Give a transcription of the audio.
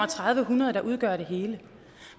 hundrede der udgør det hele